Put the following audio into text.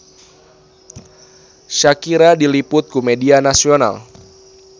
Shakira diliput ku media nasional